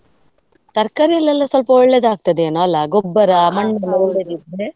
ತರಕಾರಿಯಲ್ಲೆಲ್ಲ ಸ್ವಲ್ಪ ಒಳ್ಳೇದಾಗ್ತದೇ ಏನೋ ಅಲ್ಲಾ ಗೊಬ್ಬರ .